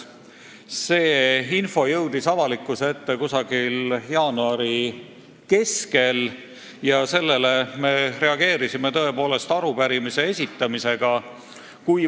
See info jõudis avalikkuse ette jaanuari keskel ja sellele me reageerisime arupärimise esitamisega.